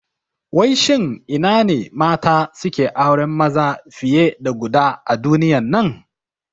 Wai shin ina ne mata suke auren maza fiye da guda a duniyan nan?